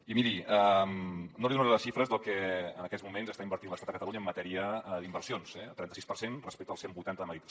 i miri no li donaré les xifres del que en aquests moments està invertint l’estat a catalunya en matèria d’inversions eh el trenta sis per cent respecte el cent vuitanta de madrid